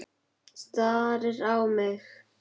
Frammi í gangi geltir Kolur.